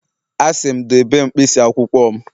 Asị m, debe mkpịsị akwụkwọ m